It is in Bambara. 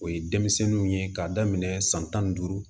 O ye denmisɛnninw ye k'a daminɛ san tan ni duuru